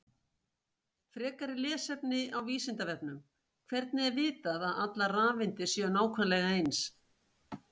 Frekara lesefni á Vísindavefnum: Hvernig er vitað að allar rafeindir séu nákvæmlega eins?